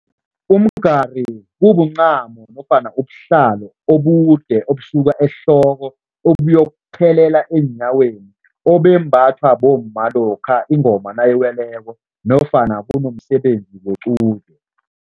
Umgari kumncamo nofana ubuhlalo obude obusuka ehloko obuyokuthelela eenyaweni obembathwa bomma lokha ingoma nayiweleko nofana kunomsebenzi wequde.